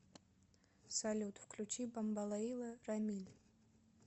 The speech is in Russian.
салют включи бомбалейла рамиль